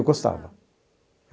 Eu gostava.